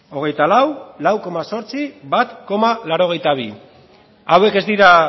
hogeita lau lau koma zortzi bat koma laurogeita bi hauek ez dira